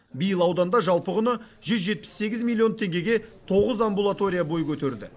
биыл ауданда жалпы құны жүз жетпіс сегіз миллион теңгеге тоғыз амбулатория бой көтерді